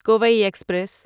Kui express